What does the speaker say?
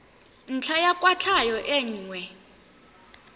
ntlha ya kwatlhao e nngwe